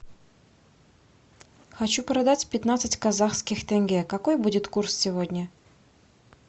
хочу продать пятнадцать казахских тенге какой будет курс сегодня